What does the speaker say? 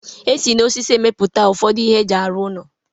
esi na osisi emepụta ụfọdụ ihe eji arụ ụlọ.